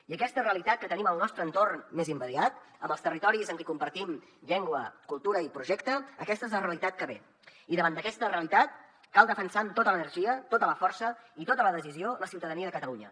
i aquesta realitat que tenim al nostre entorn més immediat amb els territoris amb qui compartim llengua cultura i projecte aquesta és la realitat que ve i davant d’aquesta realitat cal defensar amb tota l’energia tota la força i tota la decisió la ciutadania de catalunya